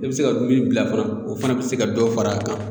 I bɛ se ka min bila fana o fana bɛ se ka dɔ fara a kan